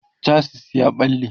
chasis ya ɓalle